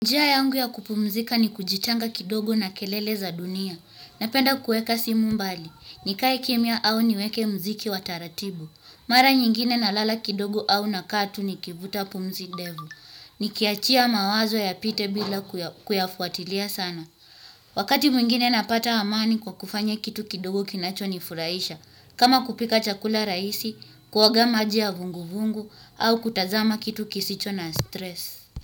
Njia yangu ya kupumzika ni kujitanga kidogo na kelele za dunia. Napenda kuweka simu mbali, nikae kimya au niweke mziki wa taratibu. Mara nyingine na lala kidogo au nakaa tu nikivuta pumzi ndefu. Nikiachia mawazo yapite bila kuyafuatilia sana. Wakati mwingine napata amani kwa kufanya kitu kidogo kinacho ni furahisha. Kama kupika chakula rahisi, kuoga maji ya vungu vungu au kutazama kitu kisicho na stress.